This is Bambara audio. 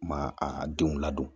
Ma a denw ladon